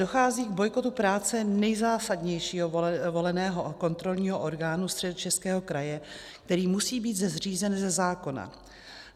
Dochází k bojkotu práce nejzásadnějšího voleného kontrolního orgánu Středočeského kraje, který musí být zřízen ze zákona.